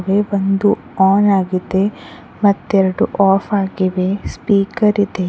ಬಂದು ಆನ್ ಆಗಿದೆ ಮತ್ತೆರಡು ಆಫ್ ಆಗಿದೆ ಸ್ಪೀಕರ್ ಇದೆ.